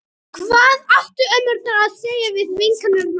Hvað áttu ömmurnar að segja við vinkonur sínar?